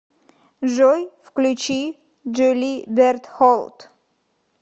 джой включи джули бертхолт